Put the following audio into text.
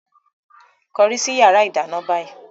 Kọrí sí yàrá ìdáná báyìí!